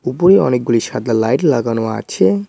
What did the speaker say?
উপরে অনেকগুলি সাদা লাইট লাগানো আছে।